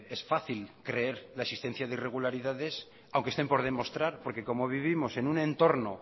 es fácil creer la existencia de irregularidades aunque estén por demostrar porque como vivimos en un entorno